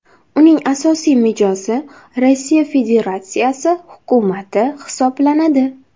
uning asosiy mijozi Rossiya Federatsiyasi Hukumati hisoblanadi.